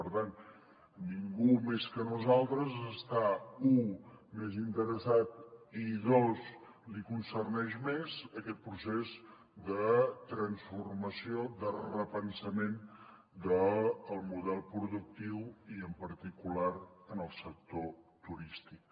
per tant ningú més que nosaltres està u més interessat i dos li concerneix més aquest procés de transformació de repensament del model productiu i en particular en el sector turístic